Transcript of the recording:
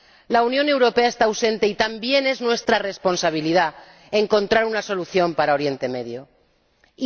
La Unión Europea está ausente y también es nuestra responsabilidad encontrar una solución para Oriente Próximo.